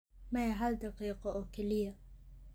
Maya hal daqiiqo oo kaliya.